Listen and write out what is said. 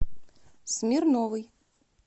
смирновой